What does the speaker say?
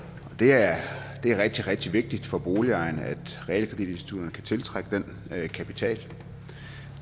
det er rigtig rigtig vigtigt for boligejerne at realkreditinstitutterne kan tiltrække den kapital